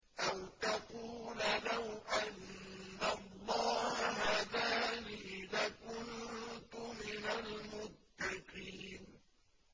أَوْ تَقُولَ لَوْ أَنَّ اللَّهَ هَدَانِي لَكُنتُ مِنَ الْمُتَّقِينَ